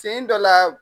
Sen dɔ la